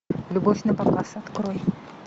любовь напоказ открой